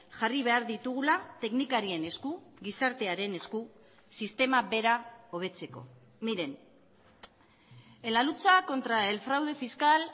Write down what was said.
jarri behar ditugula teknikarien esku gizartearen esku sistema bera hobetzeko miren en la lucha contra el fraude fiscal